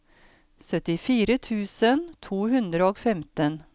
syttifire tusen to hundre og femten